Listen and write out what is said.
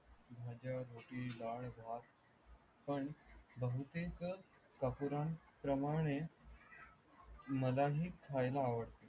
माझ्या गोष्टी लाड भाव पण बहुतेक तपुरान प्रमाणे मला ही ख्याला आवडते.